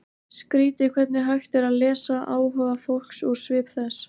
Skrýtið hvernig hægt er að lesa áhuga fólks úr svip þess.